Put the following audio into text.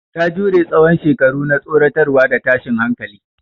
Ta jure tsawon shekaru na tsoratarwa da tashin hankali.